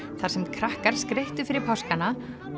þar sem krakkar skreyttu fyrir páskana